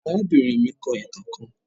Arabinrin mi kọ itan kan